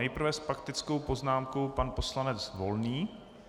Nejprve s faktickou poznámkou pan poslanec Volný.